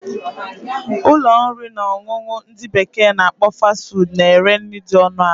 Ụlọ nri na ọṅụṅụ ndị bekee na akpọ 'Fast food' na ere nri dị ọnụ ala